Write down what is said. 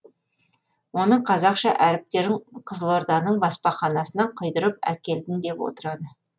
оның қазақша әріптерін қызылорданың баспаханасынан құйдырып әкелдім деп отырады